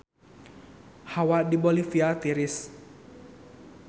Hawa di Bolivia tiris